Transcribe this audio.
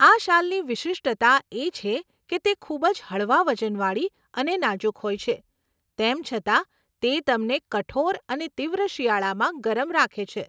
આ શાલની વિશિષ્ટતા એ છે કે તે ખૂબ જ હળવા વજનવાળી અને નાજુક હોય છે, તેમ છતાં તે તમને કઠોર અને તીવ્ર શિયાળામાં ગરમ રાખે છે.